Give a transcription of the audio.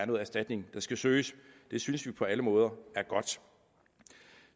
noget erstatning der skal søges det synes vi på alle måder er godt